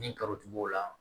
Ni karotigi b'o la